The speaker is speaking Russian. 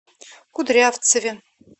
кудрявцеве